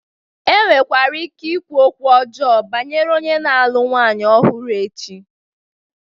Enwere ike inwe okwu ọjọọ banyere onye na-alụ nwanyị ọhụrụ echi.